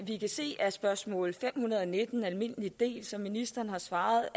vi kan se af spørgsmål fem hundrede og nitten almindelig del som ministeren har svaret